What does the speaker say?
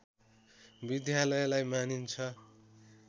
विद्यालयलाई मानिन्छ